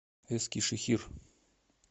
эскишехир